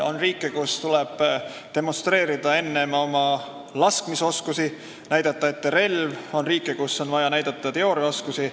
On riike, kus tuleb enne demonstreerida oma laskmisoskust, näidata ette relv, on riike, kus on vaja näidata teooriateadmisi.